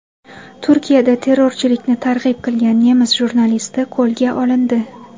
Turkiyada terrorchilikni targ‘ib qilgan nemis jurnalisti qo‘lga olindi.